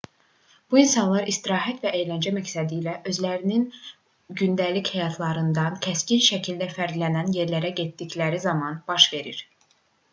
bu insanlar istirahət və əyləncə məqsədilə özlərinin gündəlik həyatlarından kəskin şəkildə fərqlənən yerlərə getdikləri zaman baş verir